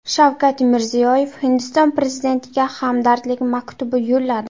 Shavkat Mirziyoyev Hindiston prezidentiga hamdardlik maktubi yo‘lladi.